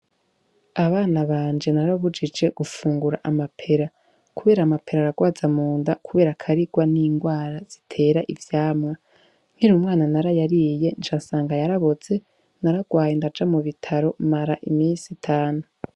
Abana banje narabujije gufungura amapera, kubera amapera aragwaza mu nda, kubera akarirwa n'ingwara zitera ivyamwa nkirumwana narayariye ncasanga yaraboze naragwaye indaja mu bitaro mara imisi itanu.